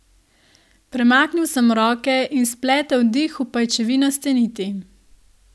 Premaknil sem roke in spletel dih v pajčevinaste niti.